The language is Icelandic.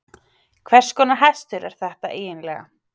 Hvers konar hestur er þetta eiginlega?